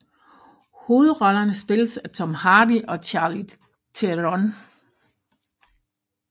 Hovedrollerne spilles af Tom Hardy og Charlize Theron